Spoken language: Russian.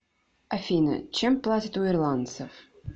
афина чем платят у ирландцев